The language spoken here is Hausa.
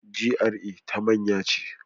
GRA ta manya ce.